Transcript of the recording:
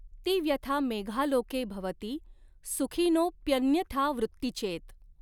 ती व्यथा मेघालोके भवति सुखिनोऽप्यन्यथावृत्तिचेत।